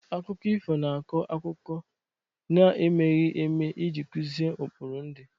Akụkọ ifu na-akọ akụkọ na-emeghi eme iji kuzi ukpuru ndị.